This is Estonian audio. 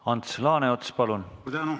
Ants Laaneots, palun!